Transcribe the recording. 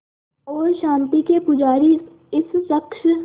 और शांति के पुजारी इस शख़्स